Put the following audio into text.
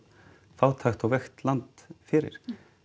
fátækt og veikt land fyrir